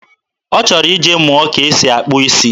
Ọ chọrọ ije mụọ ka e si akpụ isi.